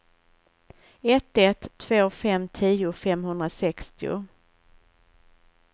ett ett två fem tio femhundrasextio